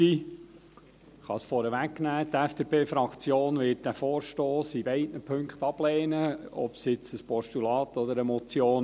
Die FDP-Fraktion wird diesen Vorstoss in beiden Punkten ablehnen, sei er jetzt ein Postulat oder eine Motion.